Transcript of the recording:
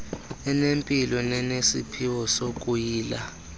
enempilo nenesiphiwo sokuyila